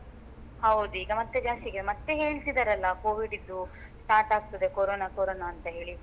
ಹೌದು ಈಗ ಮತ್ತೆ ಜಾಸ್ತಿ ಈಗ ಮತ್ತೆ ಹೇಳ್ತಿದ್ದಾರಲ್ಲ covid ದ್ದು start ಆಗ್ತದೆ ಕೊರೋನಾ ಕೊರೋನಾ ಅಂತ ಹೇಳಿ